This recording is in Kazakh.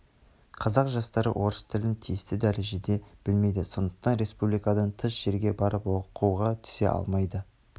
қазақ жастары орыс тілін тиісті дәрежеде білмейді сондықтан республикадан тыс жерге барып оқуға түсе алмайды